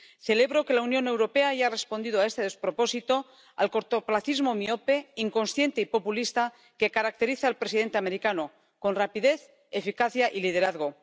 Celebro que la Unión Europea haya respondido a este despropósito, al cortoplacismo miope, inconsciente y populista que caracteriza al presidente americano, con rapidez, eficacia y liderazgo.